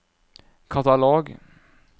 katalog